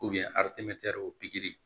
o pikiri